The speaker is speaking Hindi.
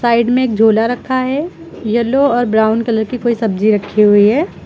साइड में एक झोला रखा है येलो और ब्राऊन कलर कि कोई सब्जी रखी हुई है।